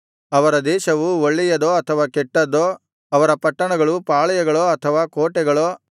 ಅವರ ದೇಶವು ಒಳ್ಳೆಯದೋ ಅಥವಾ ಕೆಟ್ಟದ್ದೋ ಅವರ ಪಟ್ಟಣಗಳು ಪಾಳೆಯಗಳೋ ಅಥವಾ ಕೋಟೆಗಳೋ